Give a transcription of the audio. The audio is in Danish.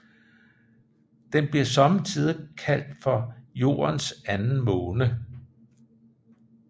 Den bliver sommetider kaldt for Jordens Anden Måne